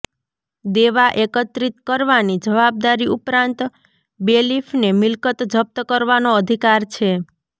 દેવાં એકત્રિત કરવાની જવાબદારી ઉપરાંત બેલીફને મિલકત જપ્ત કરવાનો અધિકાર છે